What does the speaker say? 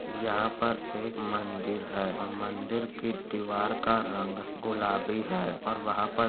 यहाँ पर एक मंदिर है और मंदिर की दीवार का रंग गुलाबी है और वहां पर --